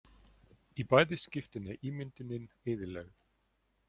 Í bæði skiptin er ímyndunin eyðilögð.